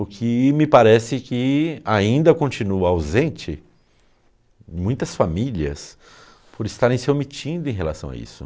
O que me parece que ainda continua ausente em muitas famílias por estarem se omitindo em relação a isso.